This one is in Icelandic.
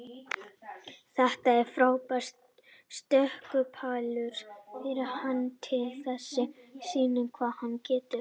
Þetta er frábær stökkpallur fyrir hann til þess sýna hvað hann getur.